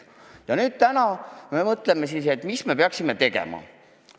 Ja nüüd täna me mõtleme, mida peaksime tegema.